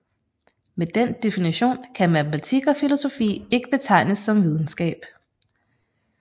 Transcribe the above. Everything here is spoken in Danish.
Med den definition kan matematik og filosofi ikke betegnes som videnskab